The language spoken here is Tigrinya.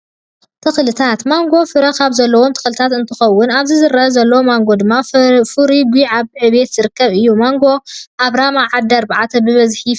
ተኽሊታት፦ ማንጎ ፈረ ካብ ዘለዎም ተኽሊታ እንትከውን ኣብዚ ዝረኣ ዘሎ ማንጎ ድማ ፈርዮ ጉዕ ኣብ ዕቤት ዝርከብ እዩ። ማንጎ ኣብ ራማ ዓዲ ኣርባዕተ በበዝሒ ይፈሪይ።